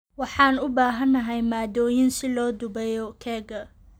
Waxaan u baahanahay maaddooyin si loo dubayo keega.